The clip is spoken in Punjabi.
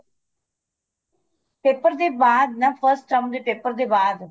paper ਦੇ ਬਾਅਦ ਨਾ first term ਦੇ paper ਦੇ ਬਾਅਦ